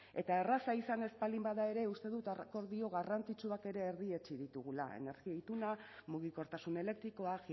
eta erraza izan ez baldin bada ere uste dut akordio garrantzitsuak ere erdietsi ditugula energia ituna mugikortasun elektrikoa